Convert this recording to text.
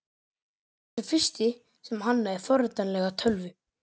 Hann var sá fyrsti sem hannaði forritanlega tölvu.